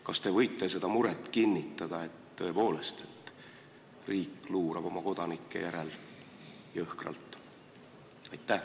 Kas te võite kinnitada muret, et riik luurab oma kodanike järel jõhkralt?